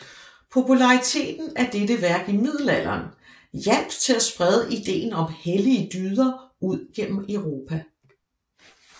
Populariteten af dette værk i middelalderen hjalp til at sprede ideen om hellige dyder ud gennem Europa